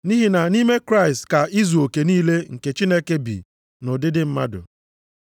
Nʼihi na nʼime Kraịst ka izuoke niile nke Chineke bi nʼụdịdị mmadụ.